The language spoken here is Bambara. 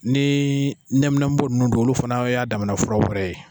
Nii ɲɛminɛnbo nunw don olu fanaw y'a damana fura ye